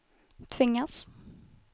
tvingas